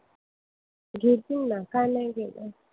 घेतील ना. का नाही घेणार?